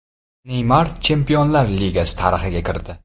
Neymar Chempionlar Ligasi tarixiga kirdi.